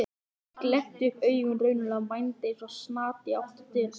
Ég glennti upp augun raunalega og mændi eins og snati í átt til dyranna.